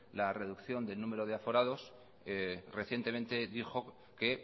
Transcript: la reducción de número de aforados recientemente dijo que